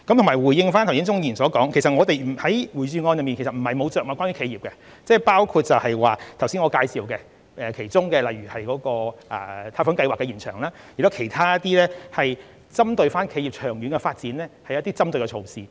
回應鍾議員剛才的提問，我們在預算案中並非完全沒有着墨於企業，我剛才也曾介紹延長貸款計劃的申請期，以及其他一些針對企業長遠發展的措施。